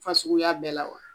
Fasluguya bɛɛ la wa?